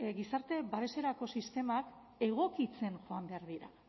gizarte babeserako sistemak egokitzen joan behar dira